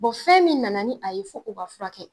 fɛn min nana ni a ye fo o ka furakɛ.